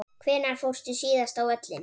Hvenær fórstu síðast á völlinn?